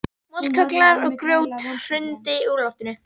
Moldarkögglar og grjót hrundi úr loftinu.